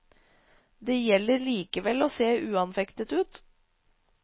Det gjelder likevel å se uanfektet ut.